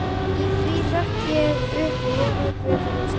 Í því hrökk ég upp og lofaði guð fyrir lausnina.